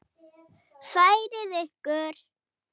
Færið ykkur!